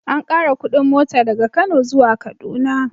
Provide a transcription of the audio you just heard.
An ƙara kuɗin mota daga Kano zuwa Kaduna.